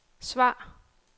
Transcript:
svar